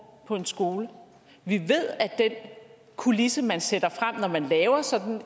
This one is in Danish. på en skole vi ved at den kulisse man sætter frem når man laver sådan